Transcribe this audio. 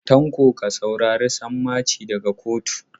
Tanko ka saurari sammaci daga kotu yau.